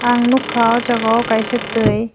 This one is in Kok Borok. ang nogka o jaga o kaisa tui.